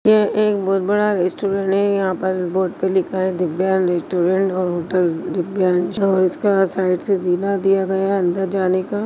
यह एक बहुत बड़ा रेस्टोरेंट है यहाँ पर बोर्ड पे लिखा है दिव्यांश रेस्टोरेंट और होटल दिव्यांश इसके साइड से जीना दिया गया है अंदर जाने का--